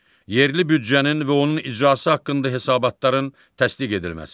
Yerli büdcənin və onun icrası haqqında hesabatların təsdiq edilməsi.